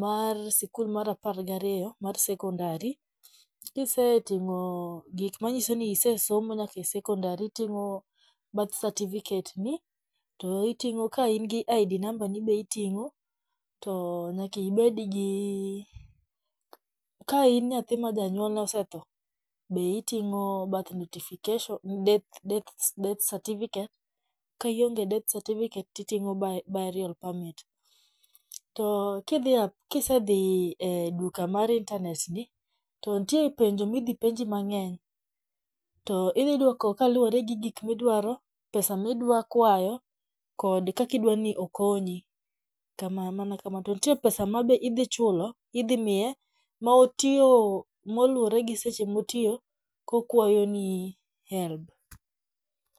mar sikul mar apar gi ariyo mar sekondari. Kiseting'o gik manyiso ni isesomo nyaka e sekondari iting'o birth certificate ni. To iting'o ka in gi ID namba ni be iting'o. To nyakibed gi ka in nyathi ma janyuol ne osetho be iting'o birth notification death certificate. Ka ionge gi death certificate to iting'o burial permit. To kidhi kisedhi e duka mar internet gi to nitie penjo midhi penji mang'eny to idhi duoko kaluwore gi gik midwaro, pesa midwa kwayo kod kaki dwa ni okonyi. Mana kamano. To nitie pesa ma be idhi chulo. Idhi miye ma otiyo moluore gi seche motiyo kokwayoni HELB.